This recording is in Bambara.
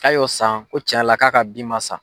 K'a y'o san Ko TIɲan yɛrɛ la k'a ka bin ma sa.